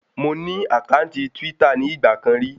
Mo ní àkáǹtì twítà ní ìgbà kan rí